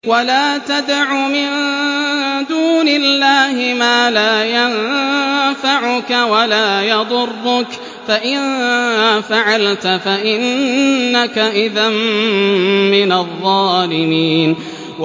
وَلَا تَدْعُ مِن دُونِ اللَّهِ مَا لَا يَنفَعُكَ وَلَا يَضُرُّكَ ۖ فَإِن فَعَلْتَ فَإِنَّكَ إِذًا مِّنَ الظَّالِمِينَ